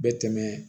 Bɛ tɛmɛ